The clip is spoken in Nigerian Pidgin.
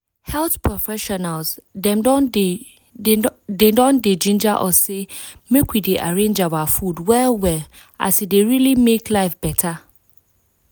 health professionals dem don dey don dey ginger us say make we dey arrange our food well well as e dey really make life beta.